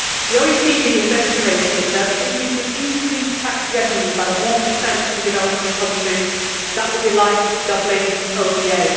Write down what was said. The OECD has estimated that, if we could increase tax revenue by 1 in developing countries, it would be like doubling ODA.